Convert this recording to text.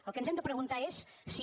el que ens hem de preguntar és si